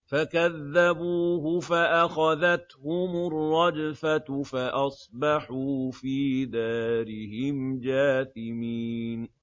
فَكَذَّبُوهُ فَأَخَذَتْهُمُ الرَّجْفَةُ فَأَصْبَحُوا فِي دَارِهِمْ جَاثِمِينَ